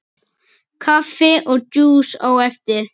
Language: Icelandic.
Kaffi og djús á eftir.